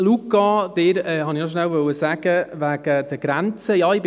Luca Alberucci, Ihnen wollte ich noch kurz wegen der Grenzen sagen: